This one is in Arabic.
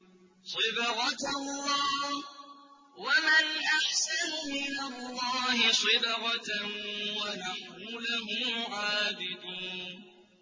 صِبْغَةَ اللَّهِ ۖ وَمَنْ أَحْسَنُ مِنَ اللَّهِ صِبْغَةً ۖ وَنَحْنُ لَهُ عَابِدُونَ